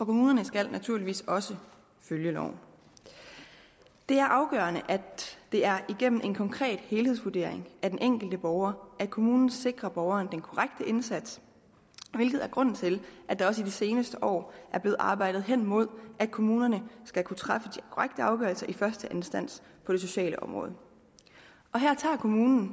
kommunerne skal naturligvis også følge loven det er afgørende at det er igennem en konkret helhedsvurdering af den enkelte borger kommunen sikrer borgeren den korrekte indsats hvilket er grunden til at der også i de seneste år er blevet arbejdet henimod at kommunerne skal kunne træffe de korrekte afgørelser i første instans på det sociale område og her tager kommunen